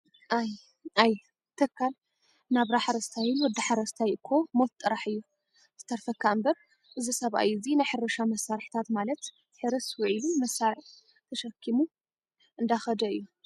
ኣይ! ኣይ! ተኻል ናብራ ሓረስታይን ወዲ ሓረስታይ እኮ ሞት ጥራሕ እያ ትተርፈካ እምበር ፤እዚ ሰብኣይ እዚ ናይ ሕርሻ መሳሪሒታት ማለት ሕርስ ዊዕሊ መሳርዕ ተከሺሙ እንዳከደ እዩ።